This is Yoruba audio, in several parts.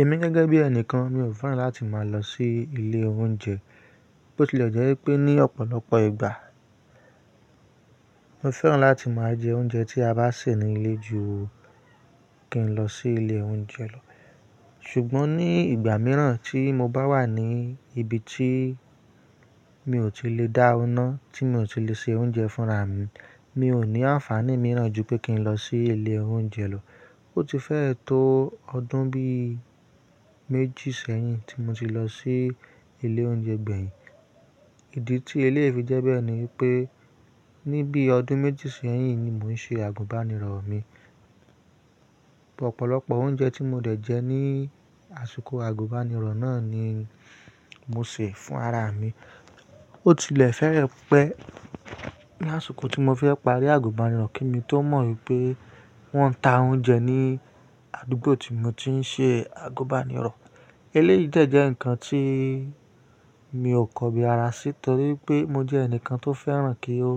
Èmi gẹ́gẹ́ bí ẹnìkan mi ò fẹ́ràn láti máa lọ sí ilé oúnjẹ, bó ti lè jẹ́ e pé ní ọ̀pọ̀lọpọ̀ ìgbà mo fẹ́ràn láti máa jẹ oúnjẹ tí a bá sè nílé ju kí n lọ sí ilé oúnjẹ lọ. Ṣùgbọ́n ní ìgbà mìíràn tí mo bá wà ní ibi tí mi ò tí lè dá ọ́ ná, tí mi ò tí lè se oúnjẹ fúnra mi, mi ò ní àǹfààní mìíràn ju pé kí n lọ sí ilé oúnjẹ lọ. Ó ti fẹ́ẹ́ tó ọdún bí méjì sẹ́yìn tí mo ti lọ sí ilé oúnjẹ gbẹ̀yìn. Ìdí tí eleyìí fi jẹ́ bẹ́ẹ̀ ni pé níbí ọdún méjì sẹ́yìn ni mò ń ṣe àgùbànirọ̀ mi. Ọ̀pọ̀lọpọ̀ oúnjẹ tí mo dẹ̀ jẹ ní àsìkò àgùbànirọ̀ náà ni mo sè fún ara mi. Ó tilẹ̀ fẹ́ẹ́ pẹ́ ní àsìkò tí mo fẹ́ parí àgùbànirọ̀ kí mi tó mọ̀ wipé wọ́n ń ta oúnjẹ ní àdúgbò tí mo ti ń ṣe àgùbànirọ̀. Eleyìí dé jẹ́ nǹkan tí mi ò kọ̀ bi ara sí torí pé mo jẹ́ ẹnìkan tó fẹ́ràn kí ó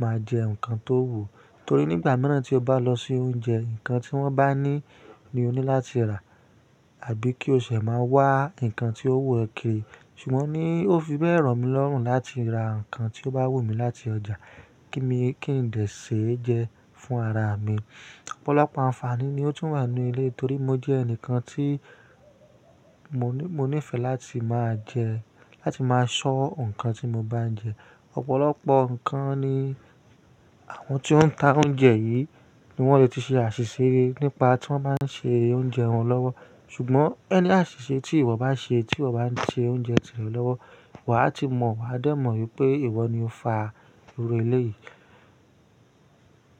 máa jẹ́ nǹkan tó wù. Torí nígbà mìíràn tí o bá lọ sí oúnjẹ, nǹkan tí wọ́n bá ní ni o ní láti rà àbí kí o ṣẹ máa wá nǹkan tí ó wù ọ́ kìrì Ṣùgbọ́n ni ó fi bẹ́ẹ̀ ràn mí lọ́rùn láti ra nǹkan tí ó bá wù mí láti ọjà kí mí, kí n dè ṣe é jẹ́ fún ara mi. Ọ̀pọ̀lọpọ̀ àǹfààní ni ó tún wà nínú eleyii torí mo jẹ́ ẹnìkan tí mo nífẹ̀ẹ́ láti máa jẹ́, láti máa ṣọ́ nǹkan tí mo bá ń jẹ. Ọ̀pọ̀lọpọ̀ nǹkan ni àwọn tí ó ń ta oúnjẹ yìí ní wọ́n lè ti ṣe àṣìṣe nípa tí wọ́n bá ń ṣe oúnjẹ wọn lọ́wọ́. Ṣùgbọ́n any àṣìṣe tí ìwọ bá ṣe tí ìwọ bá ń ṣe oúnjẹ tirẹ̀ lọ́wọ́, wà á ti mọ̀, wà á dé mọ̀ pé ìwọ ni ó fa oru eleyìí.